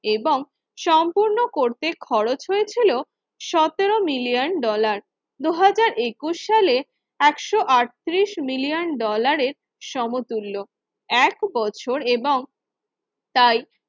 এবং সম্পূর্ণ করতে খরচ হয়েছিল সতেরো মিলিয়ন ডলার। দুই হাজার একুশ সালে একশো আটত্রিশ মিলিয়ন ডলারের সমতুল্য এক বছর এবং তাই